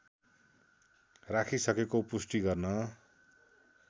राखिसकेको पुष्टि गर्न